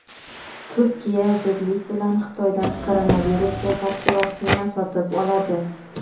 Turkiya zudlik bilan Xitoydan koronavirusga qarshi vaksina sotib oladi.